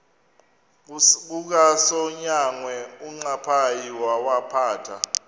kukasonyangwe uncaphayi wawaphatha